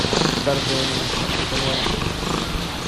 вторжение смотреть онлайн